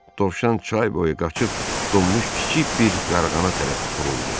Dovşan çay boyu qaçıb donmuş kiçik bir yarğana tərəf buruldu.